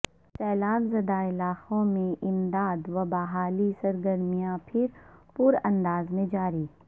سیلاب زدہ علاقوں میں امدادو بحالی سرگرمیاں بھرپوراندازمیں جاری